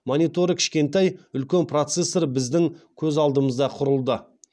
мониторы кішкентай үлкен процессор біздің көз алдымызда құрылды